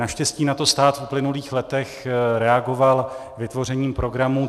Naštěstí na to stát v uplynulých letech reagoval vytvořením programu.